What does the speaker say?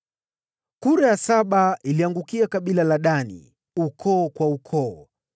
Kura ya saba ikaangukia kabila la Dani, ukoo kwa ukoo.